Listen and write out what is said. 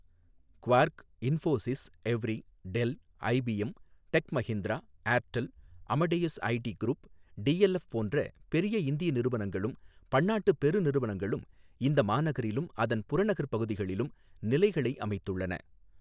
Quark, Infosys, Evry, Dell, IBM, tech Mahindra, Airtel, Amadeus IT group, DLF போன்ற பெரிய இந்திய நிறுவனங்களும் பன்னாட்டுப் பெருநிறுவனங்களும் இந்த மாநகரிலும் அதன் புறநகர் பகுதிகளிலும் நிலைகளை அமைத்துள்ளன.